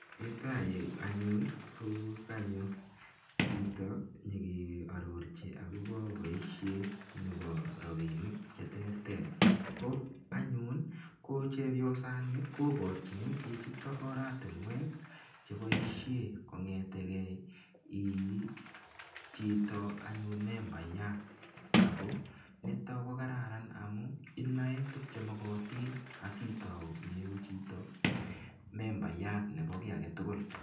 Yuto yu anyun konyo chito nyegearorchi agobo boisiet nebo rapinik cheterter. Ko anyun kochepyosani kobarchini chichito oratinwek cheboisie kongetegei iichito anyun membayat ago nito ko kararan amu inae tuk che mogotin asitau iyegu chito membayat nebo kiy agetugul.